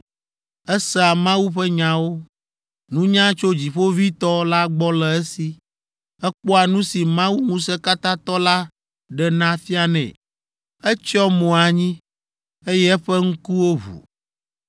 Esea Mawu ƒe nyawo, nunya tso Dziƒoʋĩtɔ la gbɔ le esi. Ekpɔa nu si Mawu Ŋusẽkatãtɔ la ɖena fianɛ. Etsyɔ mo anyi, eye eƒe ŋkuwo ʋu.